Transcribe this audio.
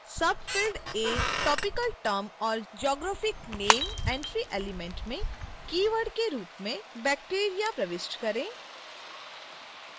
subfield a topical term or geographic name entry element में keyword के रूप में bacteria प्रविष्ट करें